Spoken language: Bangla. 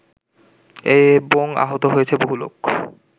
এবং আহত হয়েছে বহু লোক